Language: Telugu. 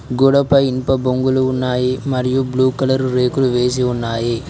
గోడపై ఇనుప బొంగులు ఉన్నాయి మరియు బ్లూ కలర్ రేకులు వేసి ఉన్నాయి.